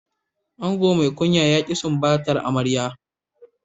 Ango mai kunya ya ki sumbatar amarya.